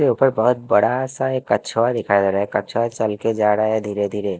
ऊपर बहोत बड़ा सा एक कछुआ दिखाई दे रहा है कछुआ चल के जा रहा है धीरे धीरे--